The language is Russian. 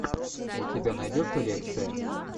у тебя найдется лекция